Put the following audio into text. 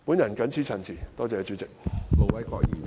我謹此陳辭，多謝主席。